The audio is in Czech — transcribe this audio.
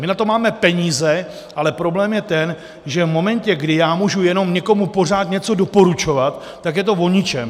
My na to máme peníze, ale problém je ten, že v momentu, kdy já můžu jenom někomu pořád něco doporučovat, tak je to o ničem.